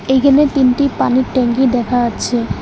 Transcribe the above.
এইখানে তিনটি পানির ট্যাংকি দেখা যাচ্ছে।